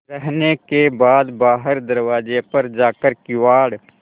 रहने के बाद बाहर दरवाजे पर जाकर किवाड़